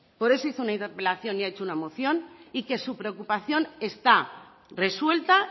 por eso hizo una interpelación y ha hecho una moción y que su preocupación está resuelta